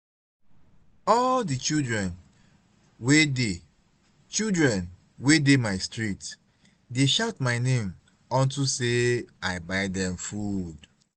all the children wey dey children wey dey my street dey shout my name unto say i buy dem food